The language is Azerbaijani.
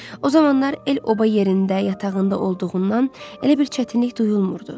O zamanlar el-oba yerində yatağında olduğundan elə bir çətinlik duyulmurdu.